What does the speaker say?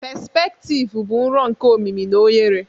pespektivu bụ nro nke omimi na ohere